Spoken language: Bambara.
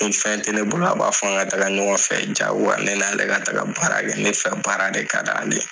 Ni fɛn tɛ ne bolo a b'a fɔ n ka taga ɲɔgɔn fɛ jagoya ne n'ale ka taga baara kɛ ne fɛ baara de ka di ale ye.